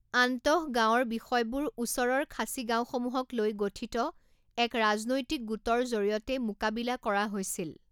আন্তঃগাওঁৰ বিষয়বোৰ ওচৰৰ খাচী গাওঁসমূহক লৈ গঠিত এক ৰাজনৈতিক গোটৰ জৰিয়তে মোকাবিলা কৰা হৈছিল।